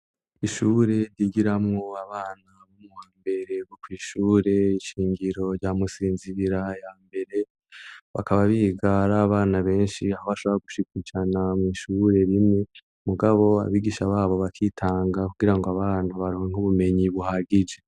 Ishure ryigiramwo abana bo mu wambere biga kw'ishure shingiro rya Musinzibira ya mbere, bakaba biga ar'abana benshi aho bashobora gushika ijana mw'ishure rimwe, mugabo abigisha babo bakitanga kugira ngo abantu baronk'ubumenyi buhagije.